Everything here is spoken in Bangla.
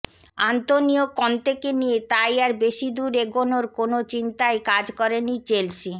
আন্তোনিও কন্তেকে নিয়ে তাই আর বেশিদুর এগোনোর কোনো চিন্তাই কাজ করেনি চেলসি